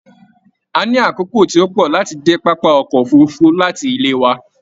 A ní àkókò tí o pọ láti dé pápá ọkọ òfurùnfu láti ilé wà